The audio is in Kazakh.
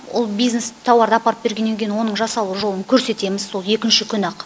ол бизнес тауарды апарып бергеннен кейін оның жасалу жолын көрсетеміз сол екінші күні ақ